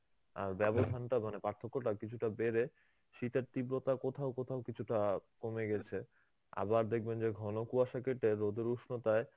ব্যবধানটা মানে পার্থক্যটা কিছুটা বেড়ে শীতের তীব্রতা কোথাও কোথাও কিছুটা কমে গেছে. আবার দেখবেন যে ঘন কুয়াশা কেটে রোদের উষ্ণতায়